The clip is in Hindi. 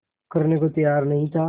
करने को तैयार नहीं था